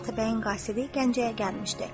Bu gün Atabəyin qasidi Gəncəyə gəlmişdi.